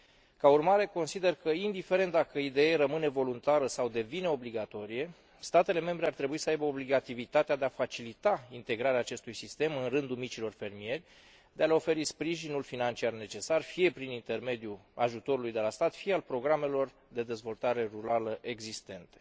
Ca urmare, consider că, indiferent dacă IDE rămâne voluntară sau devine obligatorie, statele membre ar trebui să aibă obligativitatea de a facilita integrarea acestui sistem în rândul micilor fermieri, de a le oferi sprijinul financiar necesar fie prin intermediul ajutorului de la stat, fie al programelor de dezvoltare rurală existente.